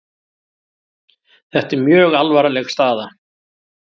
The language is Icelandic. Þetta er mjög alvarleg staða